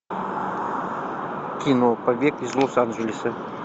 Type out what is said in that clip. кино побег из лос анджелеса